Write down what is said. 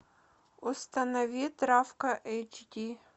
установи травка эйч ди